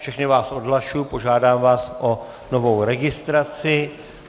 Všechny vás odhlašuji, požádám vás o novou registraci.